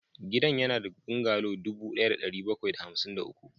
Gidan yana da bungalow dubu ɗaya da ɗari bakwai da hamsin da uku